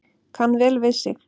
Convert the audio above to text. Kann vel við sig